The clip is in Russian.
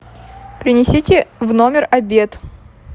принесите в номер обед